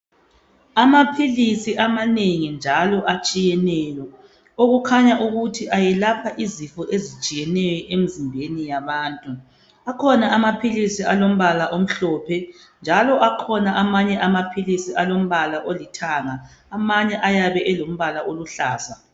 Amaphilisi amanengi njalo atshiyeneyo okukhanya ukuthi ayelapha izifo ezitshiyeneyo emzimbeni yabantu akhona amaphilisi alombala omhlophe njalo akhona amanye amaphilisi alombala olithanga amanye ayabe elombala oluhlaza.